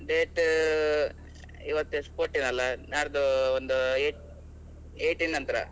Date ಇವತ್ ಎಷ್ಟ್ fourteen ಅಲ್ಲ, ನಾಡ್ದು ಒಂದು eight eighteen ನಂತ್ರ.